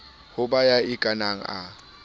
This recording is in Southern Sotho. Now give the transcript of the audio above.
ho ba ya ikanang a